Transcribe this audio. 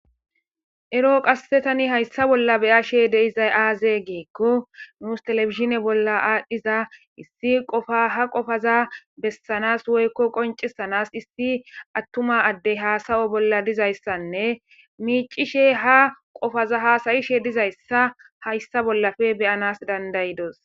ero qassetani hayssa bolla beyashe deizay aaze geekko nuus telefizshine bolla aadhdhiza issi qofa ha qofaza bessanas woykko qoncisanas issi attuma addey haasayo bolla dizayssanne miicishe ha qofaza haasayishe dizayssa hayssa bollafe beyanas dandayidos